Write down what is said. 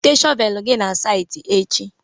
Weta shọvel gị na saịtị echi!